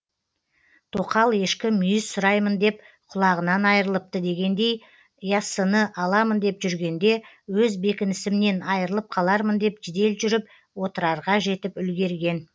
тоқал ешкі мүйіз сұраймын деп құлағынан айрылыпты дегендей яссыны аламын деп жүргенде өз бекінісімнен айрылып қалармын деп жедел жүріп отрарға жетіп үлгерген